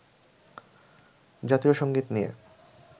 জাতীয় সংগীত নিয়ে